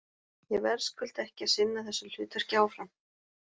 Ég verðskulda ekki að sinna þessu hlutverki áfram.